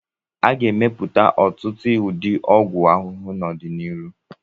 A ga-emepụta ọtụtụ ụdị ọgwụ ahụhụ n'ọdịnihu.